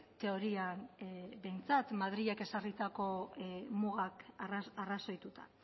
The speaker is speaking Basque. teorian behintzat madrilek ezarritako mugak arrazoituta